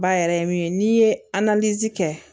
Ba yɛrɛ ye min ye n'i ye kɛ